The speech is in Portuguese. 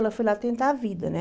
Ela foi lá tentar a vida, né?